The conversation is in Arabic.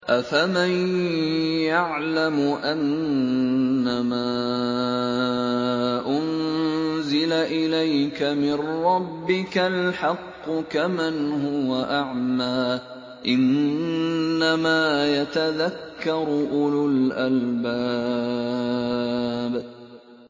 ۞ أَفَمَن يَعْلَمُ أَنَّمَا أُنزِلَ إِلَيْكَ مِن رَّبِّكَ الْحَقُّ كَمَنْ هُوَ أَعْمَىٰ ۚ إِنَّمَا يَتَذَكَّرُ أُولُو الْأَلْبَابِ